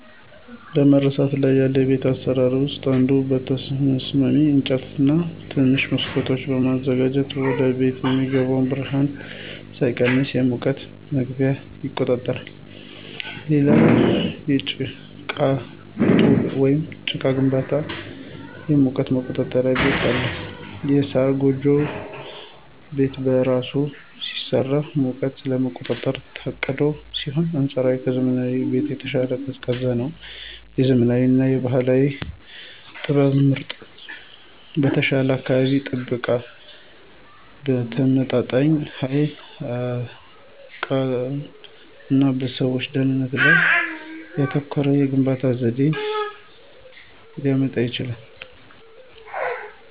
በመረሳት ላይ ያሉ የቤት አሰራሮች ውስጥ አንዱ በተስማሚ አቅጣጫ ላይ ትናንሽ መስኮቶችን በማዘጋጀት ወደቤት የሚገባው ብርሃን ሳይቀንስ የሙቀት መግቢያ ይቆጣጠራል። ሌላው የጭቃ ጡብ ወይም ጭቃ ግንባታ የሙቀት የመቆጣጠር ባህሪ አለው። የሳር ጎጆ ቤት በራሱ ሲሰራ ሙቀትን ለመቆጣጠር ታቅዶ ሲሆን አንፃራዊ ከዘመናዊ ቤቶች በተሻለ ቀዝቃዛ ነው። የዘመናዊ እና የባህል ጥበብ ጥምረት በተሻለ የአካባቢ ጥበቃ፣ በተመጣጣኝ ኃይል አጠቃቀም እና በሰዎች ደህንነት ላይ ያተኮረ የግንባታ ዘዴን ሊያመጣ ይችላል።